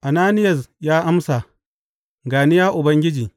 Ananiyas ya amsa, Ga ni, ya Ubangiji.